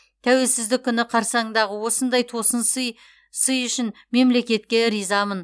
тәуелсіздік күні қарсаңындағы осындай тосын сый үшін мемлекетке ризамын